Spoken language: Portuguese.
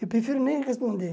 Eu prefiro nem responder.